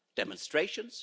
Demonstrations?